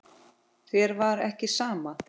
Þér var ekki sama.